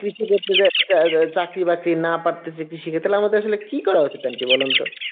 কৃষকের চা~ চার্ক্রী বাড়ি না পারতাসি ক্রিশিকের তাহলে আমাদের কি করা উচিত aunty বলুন তো